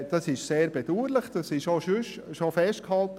Das ist sehr bedauerlich, das wurde bereits festgehalten.